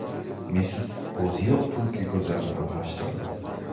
Mesut O‘zil Turkiya go‘zali bilan unashtirildi.